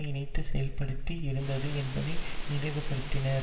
இணைந்து செயல்படுத்தி இருந்தது என்பதையும் நினைவுபடுத்தினார்